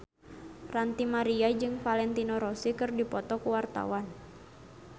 Ranty Maria jeung Valentino Rossi keur dipoto ku wartawan